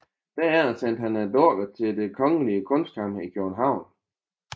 Derefter sendte han dukkerne til Det kongelige Kunstkammer i København